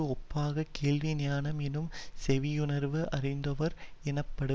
ஒப்பாகக் கேள்வி ஞானம் எனும் செவியுணவு அருந்துவோர் எணப்படு